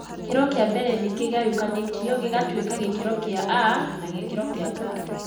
Gĩkĩro kĩa mbere nĩ kĩgayũkanĩtio gĩgatuĩka gĩkĩro kĩa mbere A na gĩa kerĩ B.